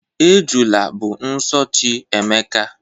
Ejula bụ nso chi Emeka.